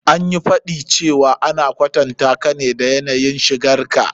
An yi faɗi cewa ana kwatantaka ne da yanayin shigar ka.